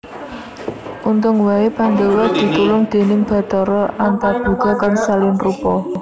Untung wae Pandhawa ditulung déning Bathara Antaboga kang salin rupa